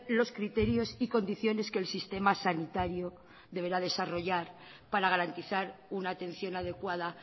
los criterios y condiciones que el sistema sanitario deberá desarrollar para garantizar una atención adecuada